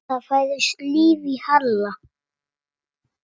Það færðist líf í Halla.